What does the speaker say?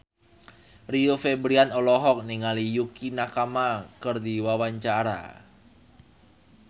Rio Febrian olohok ningali Yukie Nakama keur diwawancara